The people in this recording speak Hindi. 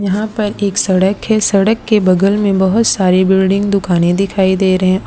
यहां पर एक सड़क है सड़क के बगल में बहोत सारी बिल्डिंग दुकानें दिखाई दे रहे है।